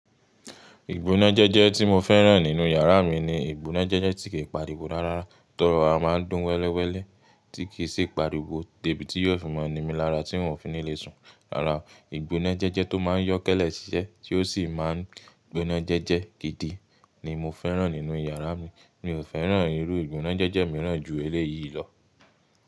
Ìgbónájẹ́jẹ́ tí mo fẹ́ràn nínú yàrá mi ni ìgbónájẹ́jẹ́ tí kìí pariwo rárá. To rọra a máa ń dún wẹ́lẹ́wẹ́lẹ́ tí kì í sì pariwo. Debiti yó fi mọ ní mi lára tí hun ò fi ní lé sùn. Rárá, ìgbónájẹ́jẹ́ tó máa ń yọ́kẹ́lẹ́ ṣiṣẹ́ tí ó sì máa ń gbónájẹ́jẹ́ gidi ni mo fẹ́ràn nínú yàrá mi. Mi ò fẹ́ràn irú ìgbónájẹ́jẹ́ mìíràn ju èlé yìí lọ.